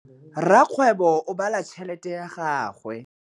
Rakgwêbô o bala tšheletê ya gagwe.